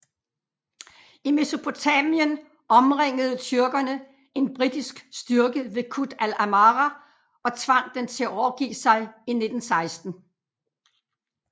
I Mesopotamien omringede tyrkerne en britisk styrke ved Kut Al Amara og tvang den til at overgive sig i 1916